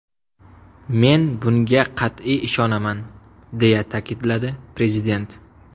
Men bunga qat’iy ishonaman”, deya ta’kidladi Prezident.